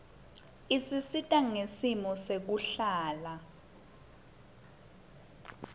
isisita ngesimo sekuhlala